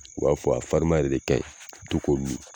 U b'a fɔ a farirman yɛrɛ de ka ɲi to k'o min